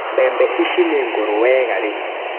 Mbembe ici nĩngũrũ wega rĩu.